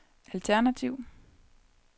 alternativ